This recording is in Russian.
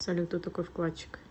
салют кто такой вкладчик